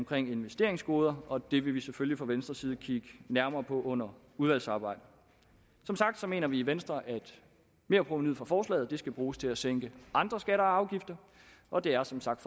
for investeringsgoder og det vil vi selvfølgelig fra venstres side kigge nærmere på under udvalgsarbejdet som sagt mener vi i venstre at merprovenuet fra forslaget skal bruges til at sænke andre skatter og afgifter og det er som sagt